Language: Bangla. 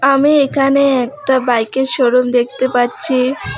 আমি এখানে একটা বাইকের শো রুম দেখতে পাচ্ছি।